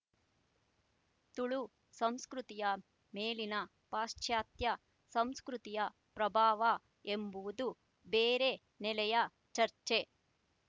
ತುಳು ಸಂಸ್ಕೃತಿಯ ಮೇಲಿನ ಪಾಶಚಾತ್ಯ ಸಂಸ್ಕೃತಿಯ ಪ್ರಭಾವ ಎಂಬುವುದು ಬೇರೆ ನೆಲೆಯ ಚರ್ಚೆ